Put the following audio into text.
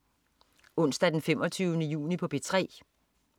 Onsdag den 25. juni - P3: